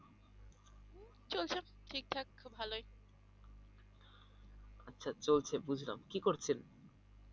আচ্ছা চলছে বুঝলাম কি করছেন?